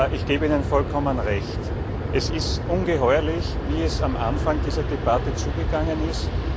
Ich gebe Ihnen vollkommen Recht Es ist ungeheuerlich, wie es am Anfang dieser Debatte zugegangen ist.